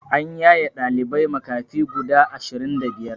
An yaye ɗalibai makafi guda ashirin da biyar